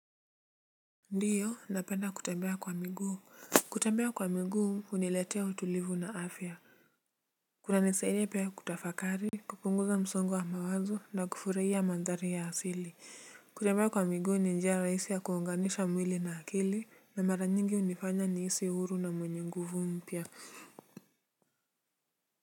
Ndiyo, napenda kutembea kwa miguu. Kutembea kwa miguu, huniletea utulivu na afya. Kunanisaidia pia kutafakari, kupunguza msongo wa mawazo na kufurahia mandhari ya asili. Kutembea kwa miguu ni njia rahisi ya kuunganisha mwili na akili na mara nyingi hunifanya nihisi huru na mwenye nguvu mpya.